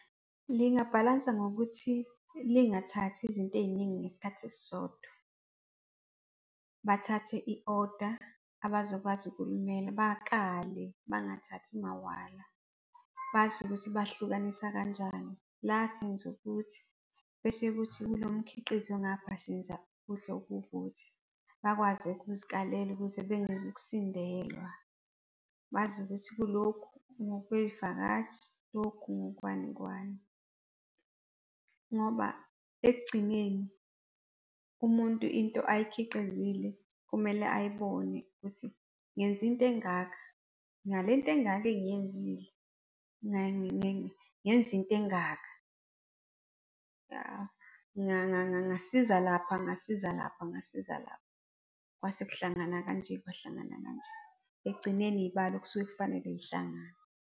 Lingabhalansa ngokuthi lingathathi izinto ey'ningi ngesikhathi esisodwa. Bathathe i-oda abazokwazi ukulimela, bakale bangathathi mawala. Bazi ukuthi bahlukanisa kanjani, la senza ukuthi bese ukuthi kulo mkhiqizo ongapha senza ukudla okuwukuthi, bakwazi ukuzikalela kuze bengezu ukusindelwa. Bazi ukuthi kulokhu ngokwezivakashi, lokhu ngokwani kwani. Ngoba ekugcineni umuntu into ayikhiqizile kumele ayibone, ukuthi ngenze into engaka, ngale nto engaka engiyenzile ngenza into engaka. Ngasiza lapha, ngasiza lapha, ngasiza lapha, kwase kuhlangana kanje kwahlangana kanje. Ekugcineni iy'balo kusuke kufanele y'hlangane.